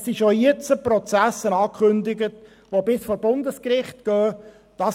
– Es sind jetzt schon Prozesse abgekündigt, die bis vor das Bundesgericht gehen.